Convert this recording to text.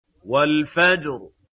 وَالْفَجْرِ